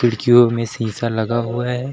खिड़कीयों में शीशा लगा हुआ है।